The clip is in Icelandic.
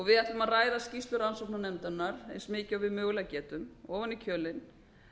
við ætlum að ræða skýrslu rannsóknarnefndarinnar eins mikið og við mögulega getum ofan í kjölinn